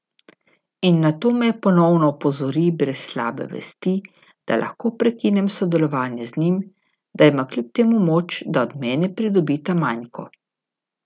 In nato me ponovno opozori, brez slabe vesti, da lahko prekinem sodelovanje z njim, da ima kljub temu moč, da od mene pridobi ta manjko.